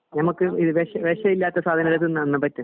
ഞമ്മക് വേഷം വിഷമില്ലാത്ത സാധനങ്ങൾ തിന്നാൻ പറ്റും